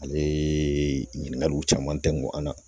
Ale ɲininkaliw caman tɛ ngɔn na